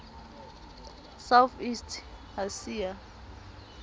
south east asia